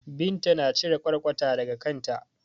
Binta na cire ƙwarƙwata daga kanta.